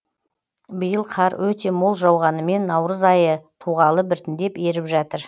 биыл қар өте мол жауғанымен наурыз айы туғалы біртіндеп еріп жатыр